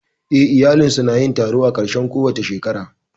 Eh, iyalinsu su na yin taro a ƙarshen kowace shekara